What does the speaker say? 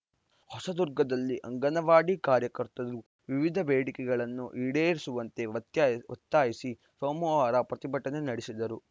ಹೊಸದುರ್ಗದಲ್ಲಿ ಅಂಗನವಾಡಿ ಕಾರ್ಯಕರ್ತರು ವಿವಿಧ ಬೇಡಿಕೆಗಳನ್ನು ಈಡೇರಿಸುವಂತೆ ಒತ್ತಾಯ್ ಒತ್ತಾಯಿಸಿ ಸೋಮವಾರ ಪ್ರತಿಭಟನೆ ನಡೆಸಿದರು